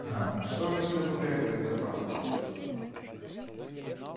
аа а что же у тебя побрякивает за пазухой